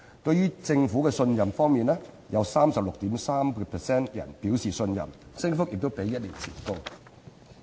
對政府信任度方面，有 36.3% 表示信任，信任度比一年前高。